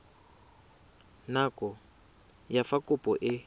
nako ya fa kopo e